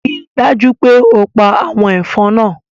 Rii daju pe o pa awọn ẹfọn naa